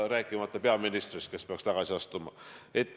Peaminister aga peaks tagasi astuma.